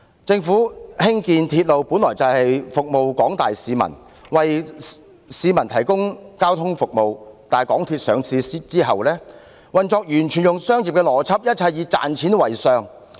政府興建鐵路本來是要服務廣大市民，為市民提供交通服務，但在港鐵公司上市後，運作完全採用商業原則，一切以賺錢為上。